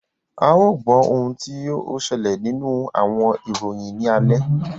A yoo gbọ ohun ti o ṣẹlẹ ninu awọn iroyin ni alẹ.